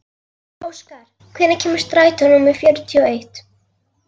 Óskar, hvenær kemur strætó númer fjörutíu og eitt?